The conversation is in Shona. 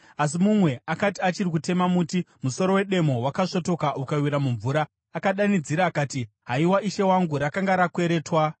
Asi mumwe akati achiri kutema muti, musoro wedemo wakasvotoka ukawira mumvura. Akadanidzira akati, “Haiwa, ishe wangu, rakanga rakweretwa!”